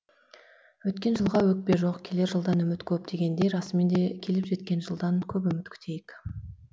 өткен жылға өкпе жоқ келер жылдан үміт көп дегендей расымен де келіп жеткен жылдан көп үміт күтейік